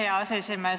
Aitäh, hea aseesimees!